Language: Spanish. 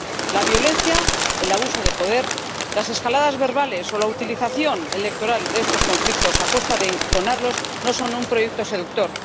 La violencia, el abuso de poder, las escaladas verbales o la utilización electoral de estos conflictos a costa de enconarlos no son un proyecto seductor.